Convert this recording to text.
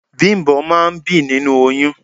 Bimbo máa ń bí nínú oyún.